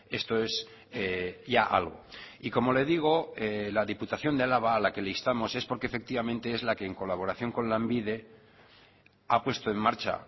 esto es ya algo y como le digo la diputación de álava a la que le instamos es porque efectivamente es la que en colaboración con lanbide ha puesto en marcha